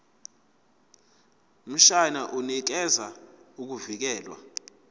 mshwana unikeza ukuvikelwa